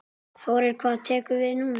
Þórir: Hvað tekur við núna?